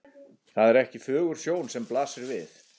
Það er ekki fögur sjón sem blasir við.